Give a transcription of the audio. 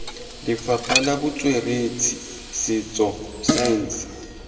lefapha la botsweretshi setso saense